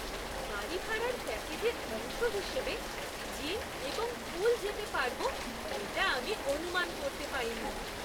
বাড়ি ভাড়ার প্যাকেজের অংশ হিসেবে জিম এবং পুল যেতে পারব এটা আমি অনুমান করতে পারিনি!